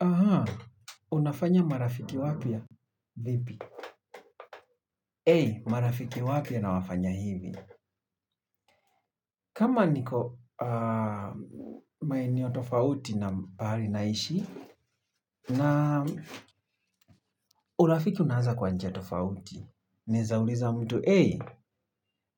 Ahaa, unafanya marafiki wapya? Ei, marafiki wapya nawafanya hivi. Kama niko maeneo tofauti na pahali naishi, na urafiki unaanza kwa njia tofauti. Naeza uliza mtu, ei,